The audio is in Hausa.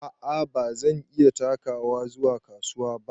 A'a bazan iya takawa zuwa kasuwa ba.